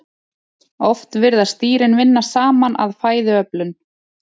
Oft virðast dýrin vinna saman að fæðuöflun.